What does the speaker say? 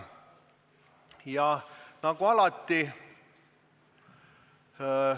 Ja nagu alati ...